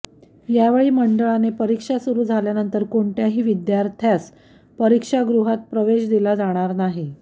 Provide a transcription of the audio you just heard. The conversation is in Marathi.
यावेळी मंडळाने परीक्षा सुरू झाल्यानंतर कोणत्याही विद्यार्थ्यास परीक्षागृहात प्रवेश दिला जाणार नाही